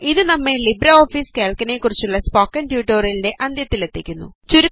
ഇത് നമ്മെ ലിബ്രെഓഫീസ് കാൽക്കിനെ കുറിച്ചുള്ള സ്പോക്കൺ ട്യൂട്ടോറിയലിൻറെ അന്ത്യത്തിലെത്തിക്കുന്നു